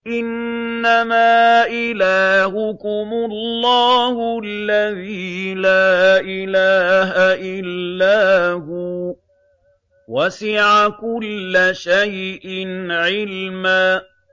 إِنَّمَا إِلَٰهُكُمُ اللَّهُ الَّذِي لَا إِلَٰهَ إِلَّا هُوَ ۚ وَسِعَ كُلَّ شَيْءٍ عِلْمًا